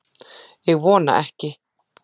Ég vona ekki